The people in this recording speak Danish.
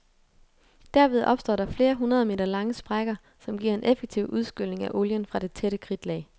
Derved opstår der flere hundrede meter lange sprækker, som giver en effektiv udskylning af olien fra det tætte kridtlag.